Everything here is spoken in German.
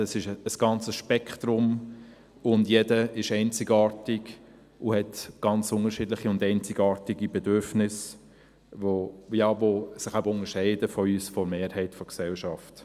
Es ist ein ganzes Spektrum, und jeder ist einzigartig und hat ganz unterschiedliche und einzigartige Bedürfnisse, die sich eben unterscheiden von den unseren, jenen der Mehrheit der Gesellschaft.